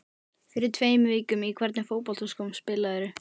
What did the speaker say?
Fyrir tveim vikum Í hvernig fótboltaskóm spilarðu?